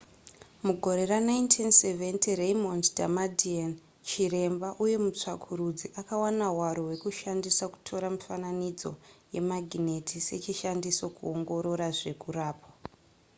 mugore ra1970 raymond damadian chiremba uye mutsvakurudzi akawana hwaro hwekushandisa kutora mifananidzo yemagineti sechishandiso kungoorora zvekurapwa